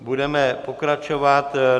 Budeme pokračovat.